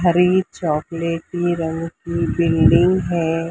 हरी चॉकलेटी रंग की बिल्डिंग है।